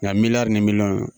Nka miliyari ni miliyɔn don.